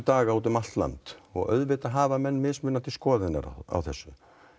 út um allt land og auðvitað hafa menn mismunandi skoðanir á þessu